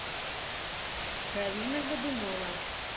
галина годунова